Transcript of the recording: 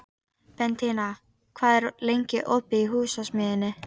Bentína, hvað er lengi opið í Húsasmiðjunni?